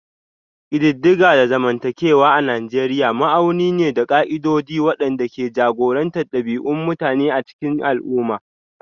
Ƙididdiga na zamantakewa a Nijeriya ma'auni ne da ƙa'idodi waɗanda ke jagorantar ɗabi'un mutum a cikin al'umma